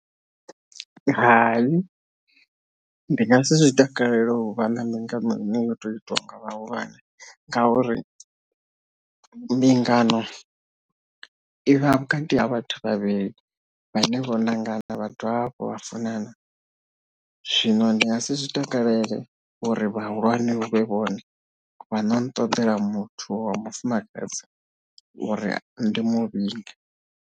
Hai ndi nga si zwi takalele uvha na mbingano ine yoto itwa nga vhahulwane ngauri mbingano i vha vhukati ha vhathu vhavhili vhane vho ṋangana vha dovha hafhu vha funana zwino ndi nga si zwi takalele uri vhahulwane hu vhe vhone vha no no ṱoḓela muthu wa mufumakadzi uri ndi muvhinge.